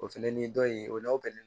O fɛnɛ ni dɔ in o la